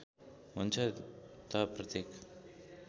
हुन्छ त प्रत्येक